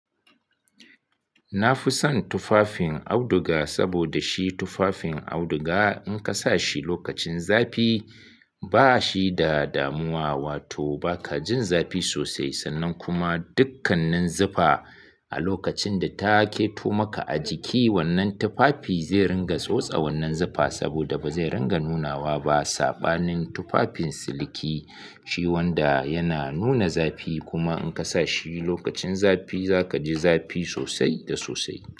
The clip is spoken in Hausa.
Na fi son tufafin auduga, saboda shi tufafin auduga in ka sa shi lokacin zafi ba shi da damuwa, wato ba ka jin zafi sosai. Sannan kuma dukkanin zufa a lokacin da ta keto maka a jiki, wannan tufafi zai ringa tsotse wannan zufa saboda ba zai ringa nunawa ba. Saɓanin tufafin siliki shi wanda yana nuna zafi kuma in ka sa shi lokacin zafi za ka ji zafi sosai da sosai.